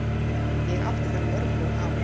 Ég átti þar mörg góð ár.